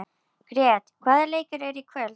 Grét, hvaða leikir eru í kvöld?